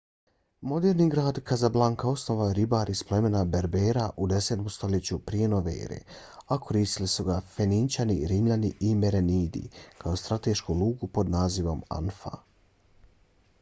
moderni grad kazablanka osnovao je ribar iz plemena berbera u 10. stoljeću prije nove ere a koristili su ga fenićani rimljani i merenidi kao stratešku luku pod nazivom anfa